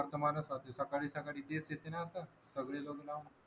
आता माझ्या वर्तमानपत्र सकाळी सकाळी तेच देते ना आता खबरी लावून